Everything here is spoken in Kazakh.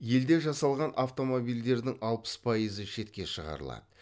елде жасалған автомобильдердің алпыс пайызы шетке шығарылады